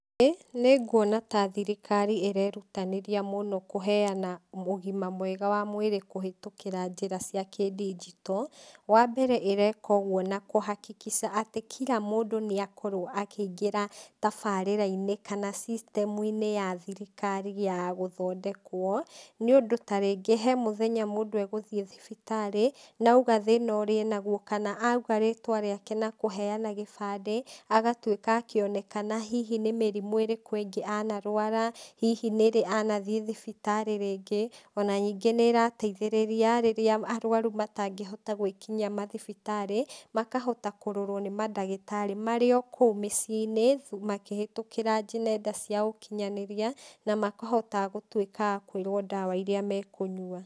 Ĩĩ nĩnguona ta thirikari ĩrerutanĩria mũno kũheana ũgima mwega wa mwĩrĩ kũhetũkĩra njĩra cia kidigito, wa mbere ĩreka ũguo na kũ hakikisha atĩ kira mũndũ nĩakorwo akĩingĩra tabarĩrainĩ kana system uinĩ ya thirikari ya gũthondekwo, nĩũndũ tarĩngĩ he mũthenya mũndũ egũthiĩ thibitarĩ, na auga thĩna ũrĩa enaguo, kana auga rĩtwa rĩake na kũheana gĩbandĩ, agatuĩka akĩonekana hihi nĩ mĩrimũ irĩkĩ ĩngĩ anarwara, hihi nĩrĩ anathiĩ thibitarĩ rĩngĩ, ona ningĩ nĩrateithĩrĩria rĩrĩa arwaru matangĩhota gwĩkinyia mathibitarĩ, makahota kũrorwo nĩ mandagĩtarĩ marĩa o kũu mũciĩnĩ, makĩhũtekĩra nenda cia ũkinyanĩria, na makahota gũtuĩka a kwĩrwo ndawa iria mekũnyua.